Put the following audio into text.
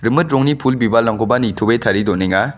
rongni pul bibalrangkoba nitoe tarie donenga.